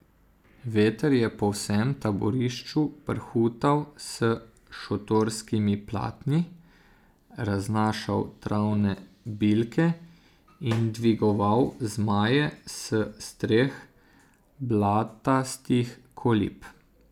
Veter je po vsem taborišču prhutal s šotorskimi platni, raznašal travne bilke in dvigoval zmaje s streh blatastih kolib.